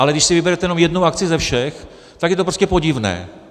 Ale když si vyberete jenom jednu akci ze všech, tak je to prostě podivné.